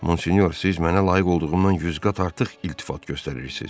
Monsinyor, siz mənə layiq olduğumdan yüz qat artıq iltifat göstərirsiz.